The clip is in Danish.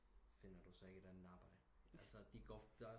Finder du så ikke et ander arbejde altså de går